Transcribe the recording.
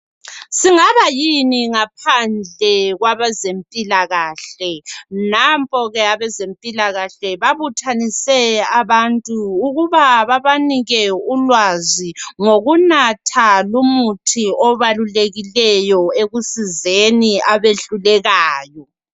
Singaba yini ngaphandle kwabezempilakahle, nampo ke abezempilakahle babuthanise abantu ukuba babanike ulwazi ngokunatha lumuthi obalulekileyo ekusizeni abehlulekayo.